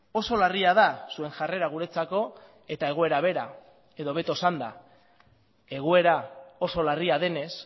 oso larria da zuen jarrera guretzako eta egoera bera edo hobeto esanda egoera oso larria denez